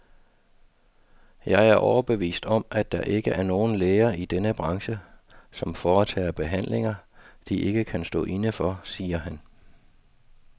Jeg er overbevist om, at der ikke er nogen læger i denne branche, som foretager behandlinger, de ikke kan stå inde for, siger han.